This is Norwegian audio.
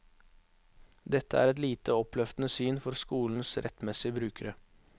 Dette er et lite oppløftende syn for skolens rettmessige brukere.